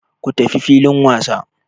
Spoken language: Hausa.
Ku tafi filin wasa!